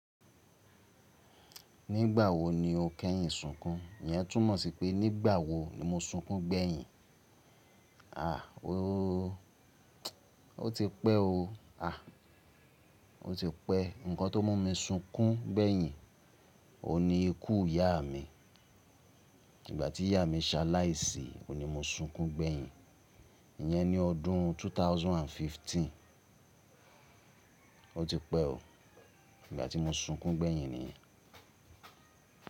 Nígbà wo ni o kẹ́yìn súnkún? Iyẹn tún mọ̀ sí pé nígbà wo ni mo súnkún gbẹ́yìn? Àh ooo, o ti pẹ́ o. Àh o ti pẹ́. Ǹkan tó mú mi súnkún gbẹ́yìn ni ikú ìyá mi. Ìgbà tí ìyá mi ṣaláìsí o ni mo súnkún gbẹ́yìn. Iyẹn ni ọdún 2015. O ti pẹ́ o. Ìgbà tí mo súnkún gbẹ́yìn nìyẹn.